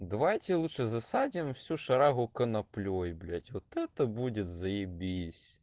давайте лучше засадим всю шарагу коноплей блять вот это будет заебись